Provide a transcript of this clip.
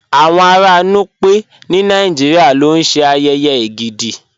Awọn ara Núpẹ̀ ni Nàìjíríà ló ṣẹ́ ayèyè Ègídì.